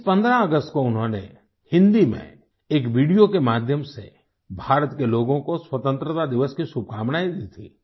इस 15 अगस्त को उन्होंने हिंदी में एक वीडियो के माध्यम से भारत के लोगों को स्वतंत्रता दिवस की शुभकामनाएँ दी थी